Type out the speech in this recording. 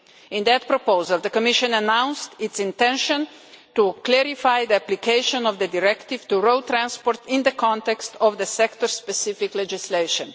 In that proposal, the Commission announced its intention to clarify the application of the directive to road transport in the context of the sector-specific legislation.